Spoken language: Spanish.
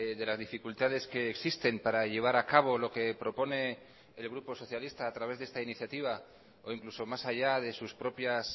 de las dificultades que existen para llevar a cabo lo que propone el grupo socialista a través de esta iniciativa o incluso más allá de sus propias